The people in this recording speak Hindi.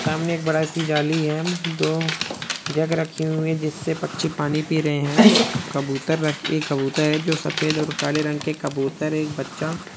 सामने एक बड़ी सी जाली है दो जग रखे हुई है जिसमे पक्षी पानी पि रहे है कबूतर र एक कबूतर है जो सफ़ेद और काले रंग के कबूतर एक बच्चा--